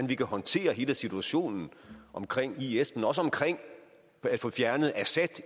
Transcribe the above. vi kan håndtere hele situationen omkring ikke bare is men også omkring at få fjernet assad